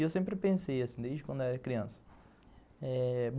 E eu sempre pensei assim, desde quando eu era criança eh...